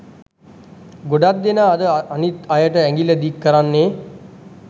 ගොඩක් දෙනා අද අනිත් අයට ඇඟිල්ල දික් කරන්නේ